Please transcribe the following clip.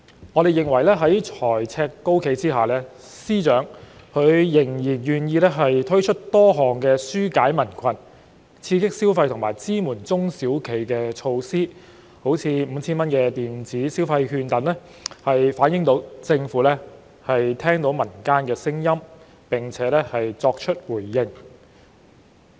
我們認為，在財政赤字高企下，司長仍然願意推出多項紓解民困、刺激消費和支援中小企的措施，例如 5,000 元電子消費券等，反映政府聽到民間聲音並作出回應。